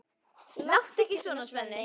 Láttu ekki svona, Svenni.